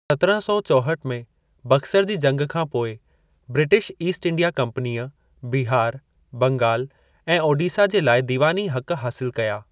सतिरहाँ सौ चौहठ में बक्सर जी जंग खां पोइ, ब्रिटिश ईस्ट इंडिया कंपनीअ बिहार, बंगाल ऐं ओडिसा जे लाइ दीवानी हक़ हासिल कया।